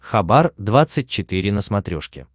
хабар двадцать четыре на смотрешке